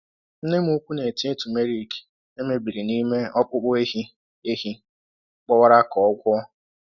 Nne m ukwu na-etinye turmeric e mebiri n’ime ọkpụkpụ ehi ehi gbawara ka o gwọọ.